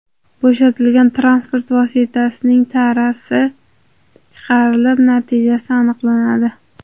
Bo‘shatilgan transport vositasining tarasi chiqarilib, natijasi aniqlanadi.